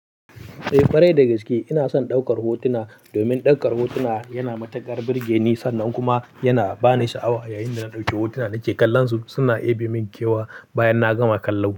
Eh, kwarai da gaske ina son ɗaukar hotuna domin ɗaukar hotuna yana matukar burge ni sannan kuma yana ba ni sha'awa yayin da na ɗauke hotuna nake kallon su suna ɗebe min kewa bayan na gama kallon su.